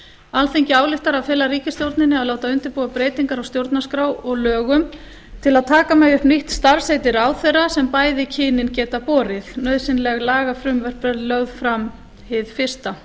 alþingi ályktar að fela ríkisstjórninni að láta undirbúa breytingar á stjórnarskrá og lögum til að taka megi upp nýtt starfsheiti ráðherra sem bæði kynin geta borið nauðsynleg lagafrumvörp verði lögð fram hið fyrsta